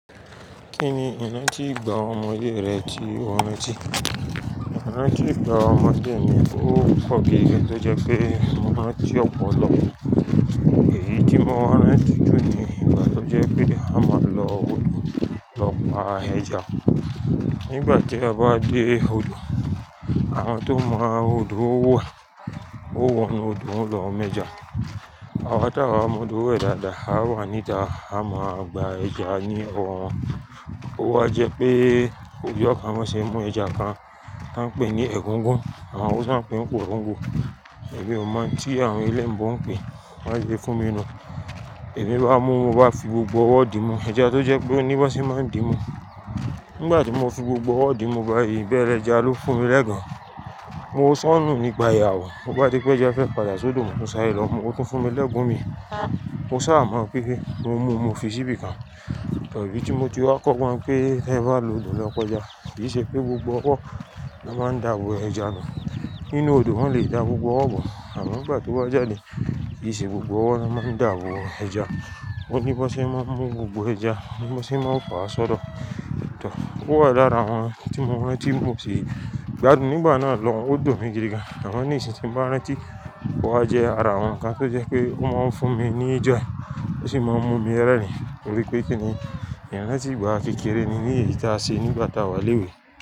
Kíni iná ti gbá ọmọ dé rẹ ti o ran ti, irán ti gbá ọmọ de mí ó kọ́gan, tó jẹ pé mo rán ti ọpọlọ. Èyí tí mo wá ní ti jún ni, igba tó jẹ́ pé a máa ń lọ odò lọ pa ẹja. Nígbà tí a bá dé odò, àwọn tó mọ odò wẹ̀ ó wọ nu odò lọ mẹ́ja. Àwọn táwà mọ odò wẹ̀ dáadáa, á wà níta á máa gba ẹja ní ọwọ́ wọn. Ó wá jẹ́ pé kò jẹ́ ká má ṣe mú ẹja kan tí wọ́n ń pè ní ègúngún, àwọn ó sì ń pè ọ́n kòróǹgò. Èmi ò mọ̀ tí àwọn eleyin bo pè é, má ṣe fún mi nu. Èmi bá mú, mo bá fi gbogbo ọwọ́ dí mú ẹja tó jẹ́ pé oní bá ṣe máa ń dí mú. Nígbà tí mo fi gbogbo ọwọ́ dí mú báyìí, bẹ́rẹ́ ẹja ló fún mi lẹ́gan. Mo ṣọ́nù nípa ìyàwó, lo bá di pé ẹja fẹ́ padà sódò mó sáré lọ, mu o tún fún mi lẹ́gun mi. Mo sá à mọ̀ pé mo mú, mo fi sí ibì kan. Idi tí mo ti wá kọ́ gbọn pé, "ẹ bá lọ odò lọ pa ẹja, kì í ṣe pé gbogbo ọwọ́ ni a máa ń dàbọ̀ ẹja nù. Nínú odò wọ́n lè dà gbogbo ọwọ́ bọ̀ àmọ́ nígbà to ba jáde, kì í ṣe gbogbo ọwọ́ ni a máa ń dàbọ̀ ẹja. Oní bá ṣe máa mú gbogbo ẹja, oní bá ṣe máa fa a sọdọ̀." Tò, ó wà lára àwọn tí mo rántí mú sí. Gbadùn nígbà náà lọ́hun odun mi gidi gan. Àwọn ènìyàn sì ti ń bá mi rántí bó á jẹ́ ara wọn ká tó jẹ́ pé ó máa ń fún mi ní joy, ó sì máa ń mú mi rẹ́rìn-ín. Torí pé kí ni, irán ti gbá kékeré mi ní èyí táa se nígbà táa wà léwò.